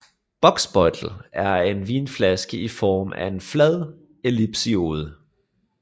Bocksbeutel er en vinflaske i form af en flad ellipsoide